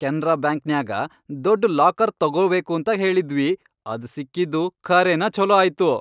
ಕೆನ್ರಾ ಬ್ಯಾಂಕ್ನ್ಯಾಗ ದೊಡ್ಡ್ ಲಾಕರ್ ತೊಗೊಬೇಕಂತ ಹೇಳಿದ್ವಿ, ಅದ್ ಸಿಕ್ಕಿದ್ದು ಖರೇನ ಛೊಲೋ ಆಯ್ತು.